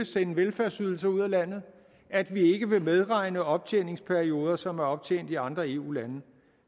sende velfærdsydelser ud af landet at vi ikke vil medregne optjeningsperioder som er optjent i andre eu lande